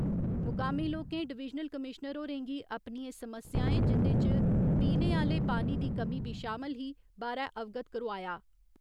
मुकामी लोकें divisional commissioner होरें गी अपनियें समस्याएं जिं'दे इच पीने आह्‌ले पानी दी कमी बी शामल ही बारै अवगत करोआया।